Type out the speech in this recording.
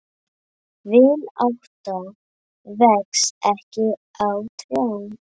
Vinátta vex ekki á trjám.